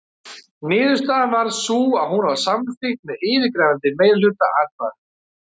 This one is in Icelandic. Niðurstaðan varð sú að hún var samþykkt með yfirgnæfandi meirihluta atkvæða.